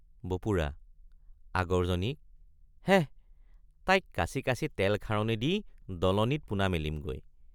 বপুৰা—আগৰ জনীক—হেঃ তাইক কাচি কাচি তেল খাৰণি দি দলনিত পোনা মেলিমগৈ।